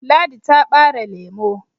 ladi ta bare lemo